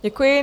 Děkuji.